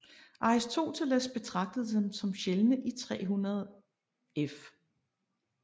Aristoteles betragtede dem som sjældne i 300 f